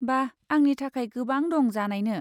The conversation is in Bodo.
बा, आंनि थाखाय गोबां दं जानायनो।